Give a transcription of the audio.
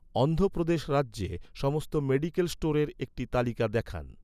অন্ধ্র প্রদেশ রাজ্যে, সমস্ত মেডিকেল স্টোরের একটি তালিকা দেখান